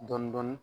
Dɔɔnin dɔɔnin